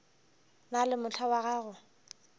na le mohla wa go